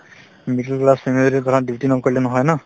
middle family ত ধৰা duty নকৰিলে নহয় ন